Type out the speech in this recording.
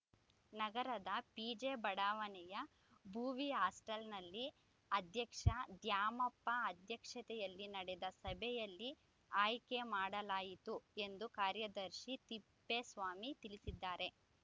ನಗರದ ಪಿಜೆ ಬಡಾವಣೆಯ ಭೋವಿ ಹಾಸ್ಟೆಲ್‌ನಲ್ಲಿ ಅಧ್ಯಕ್ಷ ದ್ಯಾಮಪ್ಪ ಅಧ್ಯಕ್ಷತೆಯಲ್ಲಿ ನಡೆದ ಸಭೆಯಲ್ಲಿ ಆಯ್ಕೆ ಮಾಡಲಾಯಿತು ಎಂದು ಕಾರ್ಯದರ್ಶಿ ತಿಪ್ಪೇಸ್ವಾಮಿ ತಿಳಿಸಿದ್ದಾರೆ